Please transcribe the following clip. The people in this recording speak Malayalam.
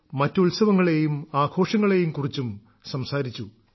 നമ്മൾ മറ്റ് ഉത്സവങ്ങളേയും ആഘോഷങ്ങളേയും കുറിച്ചും സംസാരിച്ചു